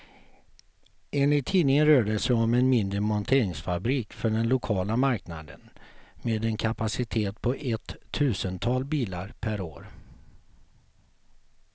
Enligt tidningen rör det sig om en mindre monteringsfabrik för den lokala marknaden, med en kapacitet på ett tusental bilar per år.